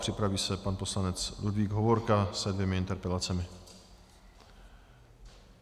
Připraví se pan poslanec Ludvík Hovorka se dvěma interpelacemi.